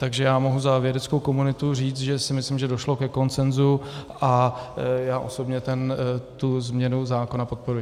Takže já mohu za vědeckou komunitu říct, že si myslím, že došlo ke konsenzu, a já osobně tu změnu zákona podporuji.